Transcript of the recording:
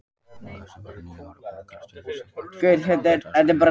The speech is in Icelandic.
Úr þessu varð níu ára borgarastyrjöld sem Bandaríkjastjórn blandaðist æ meir í.